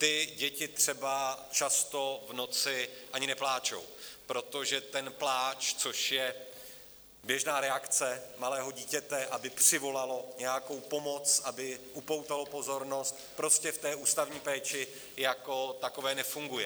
Ty děti třeba často v noci ani nepláčou, protože ten pláč, což je běžná reakce malého dítěte, aby přivolalo nějakou pomoc, aby upoutalo pozornost, prostě v té ústavní péči jako takové nefunguje.